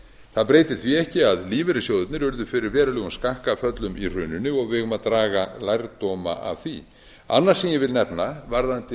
það breytir því ekki að lífeyrissjóðirnir urðu fyrir verulegum skakkaföllum í hruninu og við eigum að draga lærdóma af því annað sem ég vil nefna varðandi